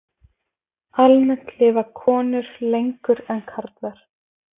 Almennt lifa konur lengur en karlar.